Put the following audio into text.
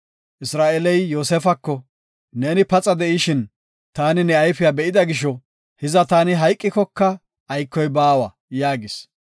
Isra7eeley Yoosefako, “Neeni paxa de7ishin, taani ne ayfiya be7ida gisho, hiza taani hayqikoka aykoy baawa” yaagis.